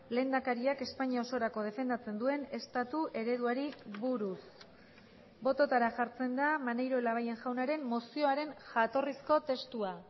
lehendakariak espainia osorako defendatzen duen estatu ereduari buruz bototara jartzen da maneiro labayen jaunaren mozioaren jatorrizko testua